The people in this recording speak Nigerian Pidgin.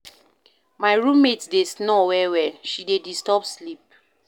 My room mate dey snore well-well, she dey disturb sleep.